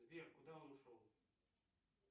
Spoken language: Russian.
сбер куда он ушел